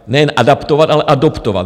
Nejen adaptovat, ale adoptovat.